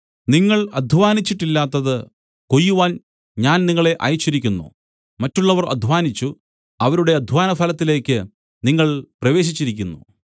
നിങ്ങൾ അദ്ധ്വാനിച്ചിട്ടില്ലാത്തത് കൊയ്യുവാൻ ഞാൻ നിങ്ങളെ അയച്ചിരിക്കുന്നു മറ്റുള്ളവർ അദ്ധ്വാനിച്ചു അവരുടെ അദ്ധ്വാനഫലത്തിലേക്ക് നിങ്ങൾ പ്രവേശിച്ചിരിക്കുന്നു